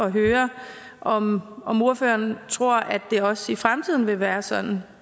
høre om om ordføreren tror at det også i fremtiden vil være sådan